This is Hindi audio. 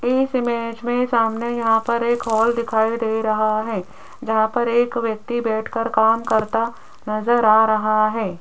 एक इमेज में सामने यहां पर एक हाल दिखाई दे रहा है जहां पर एक व्यक्ति बैठकर काम करता नजर आ रहा है।